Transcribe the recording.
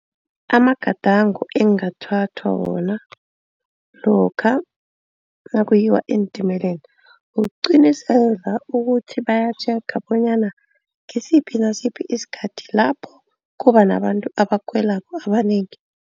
Amagadango engathathwa wona lokha nakuyiwa entimeleni. Kuqiniseka ukuthi bayatjhega bonyana ngisiphi nasiphi isikhathi lapho kuba nabantu abakhwelako abanengi.